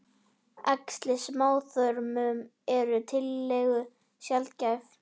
Æxli í smáþörmum eru tiltölulega sjaldgæf.